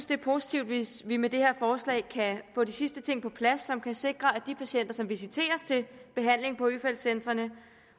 det er positivt hvis vi med det her forslag kan få de sidste ting på plads som kan sikre at de patienter som visiteres til behandling på øfeldt centrene